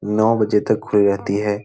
नौ बजे तक खुली रहती है।